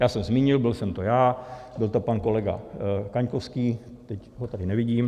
Já jsem zmínil, byl jsem to já, byl to pan kolega Kaňkovský, teď ho tady nevidím.